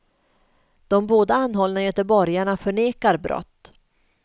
De båda anhållna göteborgarna förnekar brott.